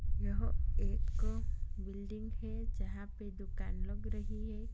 यह एक बिल्डिंग है जहाँ पे दुकान लग रही है।